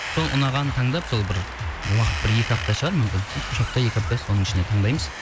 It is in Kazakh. сол ұнағанын таңдап сол бір уақыт бір екі апта шығар мүмкін үш апта екі апта соның ішінен таңдаймыз